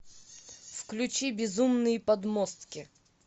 включи безумные подмостки